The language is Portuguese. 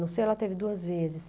No seio ela teve duas vezes.